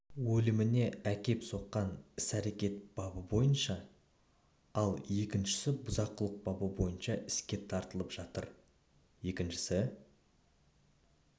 өліміне әкеп соққан іс-әрекет бабы бойынша ал екіншісі бұзақылық бабы бойынша іске тартылып жатыр екіншісі